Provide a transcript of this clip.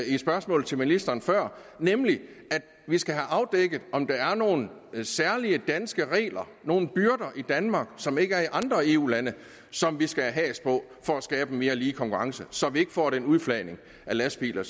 et spørgsmål til ministeren før nemlig at vi skal have afdækket om der er nogle særlige danske regler nogle byrder i danmark som der ikke er i andre eu lande og som vi skal have has på for at skabe en mere lige konkurrence så vi ikke får den udflagning af lastbiler